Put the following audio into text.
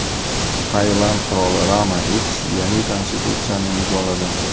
Tailand qiroli Rama X yangi konstitutsiyani imzoladi.